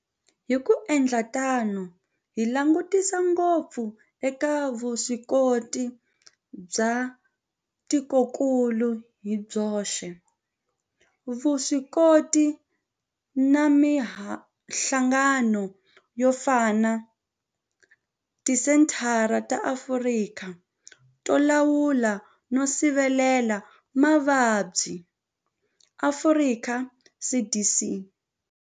Hi ku endla tano hi langutisa ngopfu eka vuswikoti bya tikokulu hi byoxe, vuswikoti na mihlangano yo fana na Tisenthara ta Afrika to Lawula no Sivela Mavabyi, Afrika CDC.